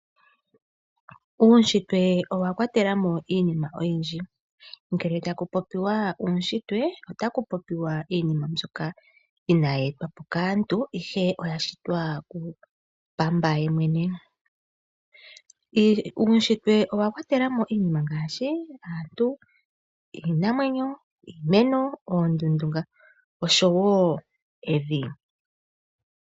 Uushitwe owakwatelamo iinima oyindji. Ngele taku popiwa Uushitwe otaku popiwa iinima mbyoka inayi etwa po kaantu ihe oya shitwa ku pamba yemwene. Uushitwe owa kwatela mo iinima ngaashi aantu, iinamwenyo, iimeno, oondundu oshowo evi